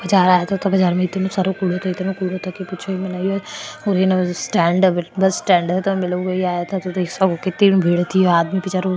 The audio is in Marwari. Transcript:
चार आते स्टेण्ड और बस स्टेण्ड है और मै लोग आया था आदमी विचारो --